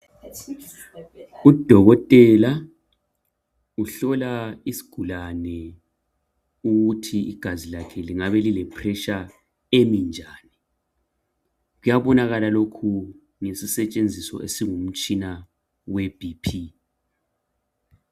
Udokotela uhlola isigulane ukuthi igazi lakhe lingabe lile pressure eminjani, kuyabonakala lokhu ngesisetshenziso esingumtshina we bhiphi.